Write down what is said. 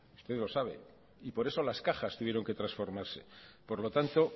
usted lo sabe y por eso las cajas tuvieron que transformarse por lo tanto